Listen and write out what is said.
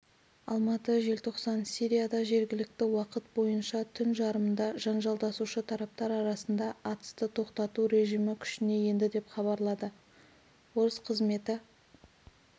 алматы желтоқсан сирияда жергілікті уақыт бойынша түн жарымында жанжалдасушы тараптар арасында атысты тоқтату режимі күшіне енді деп хабарлады орыс қызметі